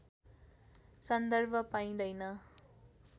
सन्दर्भ पाइँदैन